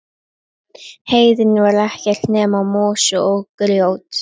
Heiðin var ekkert nema mosi og grjót.